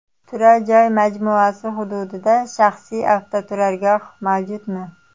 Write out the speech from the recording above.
Turar joy majmuasi hududida shaxsiy avtoturargoh mavjudmi?